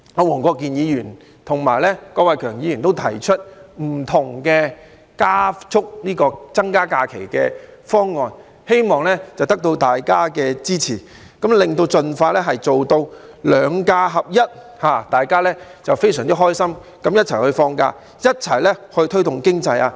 黃國健議員和郭偉强議員提出了步伐不同的增加假期方案，希望得到大家的支持，盡快做到"兩假合一"，讓大家非常開心的一起放假，一起推動經濟。